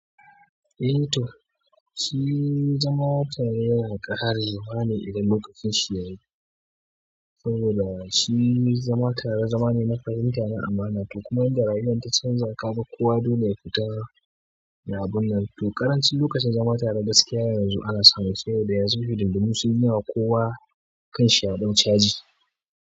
Eh to, shi zama tare yana ƙarewa ne idan lokacin shi yayi, saboda shi zama tare zama ne na fahimta gida amana to kuma inda rayuwa ta canza kaga kowa dole ya fita ya abun nan, to ƙaranci lokacin zama tare gaskiya yanzu bana samu, saboda yanzu hidindimu sunyi yawa, kowa. Kan shi ya ɗau caji.